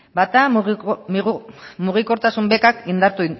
bata mugikortasun bekak indartu